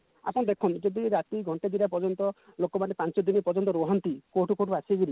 ଆପଣ ଦେଖନ୍ତୁ ଯଦି ରାତି ଘଣ୍ଟେ ଦି ଘଣ୍ଟା ପର୍ଯ୍ୟନ୍ତ ଲୋକମାନେ ପାଞ୍ଚ ଦିନ ପର୍ଯ୍ୟନ୍ତ ରୁହନ୍ତି କୋଉଠୁ କୋଉଠୁ ଆସିକାରି